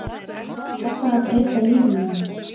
Ég ákvað að breyta lífi mínu.